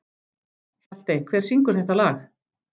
Hjaltey, hver syngur þetta lag?